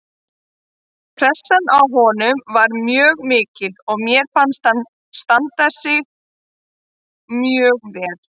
Pressan á honum var mjög mikil en mér fannst hann standa sig mjög vel